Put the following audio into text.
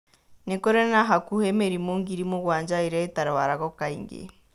Nĩ kũrĩ na hakuhĩ mĩrimũ ngiri mũgwanja ĩrĩa ĩtarũaragũo kaingĩ.